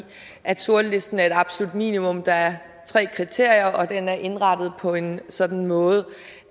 at sortlisten er et absolut minimum der er tre kriterier og den er indrettet på en sådan måde